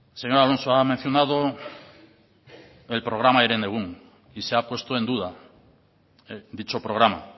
señor alonso ha mencionado el programa herenegun y se ha puesto en duda dicho programa